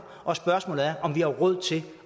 og spørgsmålet er om vi har råd til